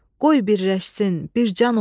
Qoy birləşsin, bir can olsun.